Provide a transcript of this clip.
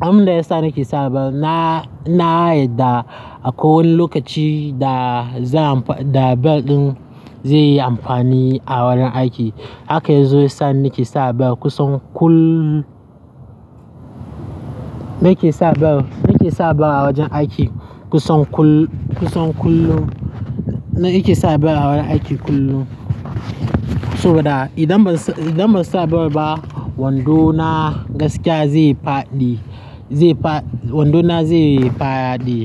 abin da ya sa nake sa bel, na, na yarda akwai wani lokaci da zan da bel ɗin zai yi amfani a wajen aiki. Haka ya zo sa nake sa bel kusan kullum. Nake sa bel, nake sa bel a wajen aiki kusan kullum, kusan kullum. Nake sa bel a wajen aiki kullum saboda idan ba, idan ba sa bel ba wando na gaskiya zai faɗi, zai faɗi, wando na zai faɗi.